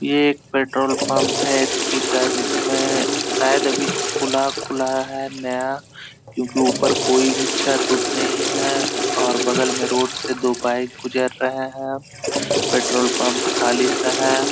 ये एक petrol pump है एच.पी. का जिसमें शायद अभी खुला खुला है नया क्योंकि ऊपर कोई भी छत उत्त नहीं है और बगल में रोड से दो बाइक गुजर रहा है पेट्रोल पंप खाली सा है।